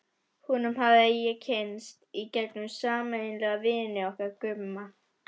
Honum hafði ég kynnst í gegnum sameiginlega vini okkar Gumma.